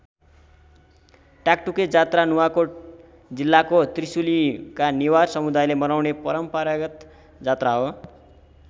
टाकटुके जात्रा नुवाकोट जिल्लाको त्रिशुलीका नेवार समुदायले मनाउने परम्परागत जात्रा हो।